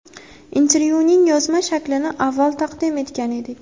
Intervyuning yozma shaklini avval taqdim etgan edik.